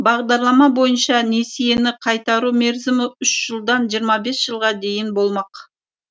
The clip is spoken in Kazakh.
бағдарлама бойынша несиені қайтару мерзімі үш жылдан жиырма бес жылға дейін болмақ